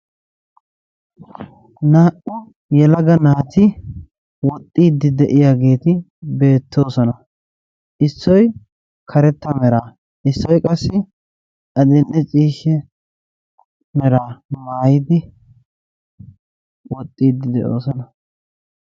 Naa"u yelaga naati woxxiidi de'iyageeti beetoososna. Issoy karetta meraa issoy qassi adil''e ciishsha meraa maayidi woxxiidi de'oososna.